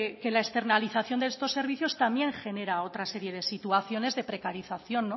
que la externalización de estos servicios también genera otra serie de situaciones de precarización